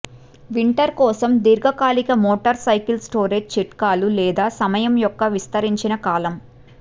winter కోసం దీర్ఘకాలిక motorcycle storage చిట్కాలు లేదా సమయం యొక్క విస్తరించిన కాలం